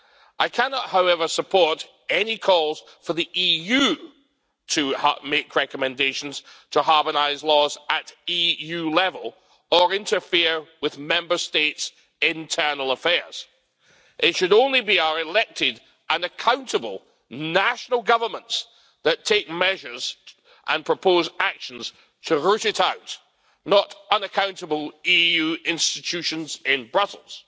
I cannot, however, support any calls for the EU to make recommendations to harmonise laws at EU level or interfere with Member States' internal affairs. It should only be our elected and accountable national governments that take measures and propose actions to root it out, not unaccountable EU institutions in Brussels.